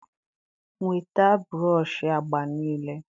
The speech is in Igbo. Nweta broshị agba niile